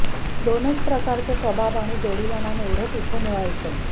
दोनचार प्रकारचे कबाब आणि जोडीला नान एवढंच इथे मिळायचं